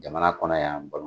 Jamana kɔnɔ y'a